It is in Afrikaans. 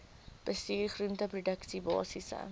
bestuur groenteproduksie basiese